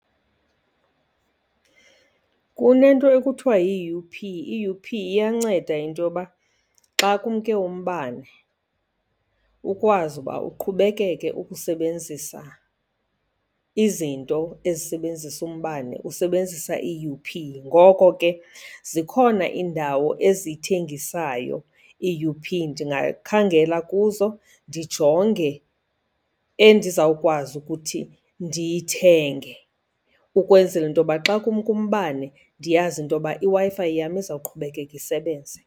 Kunento ekuthiwa yi-U_P. I-U_P iyanceda into yoba xa kumke umbane ukwazi uba uqhubekeke ukusebenzisa izinto ezisebenzisa umbane usebenzisa i-U_P. Ngoko ke zikhona iindawo eziyithengisayo i-U_P, ndingakhangela kuzo ndijonge endizawukwazi ukuthi ndiyithenge, ukwenzela into yoba xa kumke umbane ndiyazi into yoba iWi-Fi yam izawuqhubekeka isebenze.